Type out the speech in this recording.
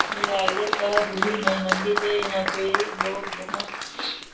ये रायगढ़ का बूढी माई मंदिर है यहाँ पे लोग बहोत --